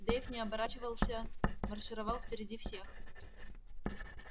дейв не оборачивался маршировал впереди всех